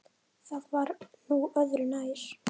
Það var nú öðru nær.